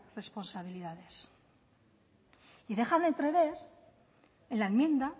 responsabilidades y dejan entrever en la enmienda